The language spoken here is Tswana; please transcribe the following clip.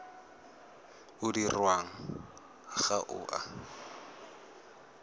o dirwang ga o a